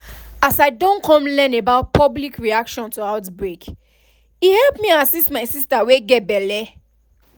as i don come learn about public reaction to outbreak e help me assist my sister wey get belle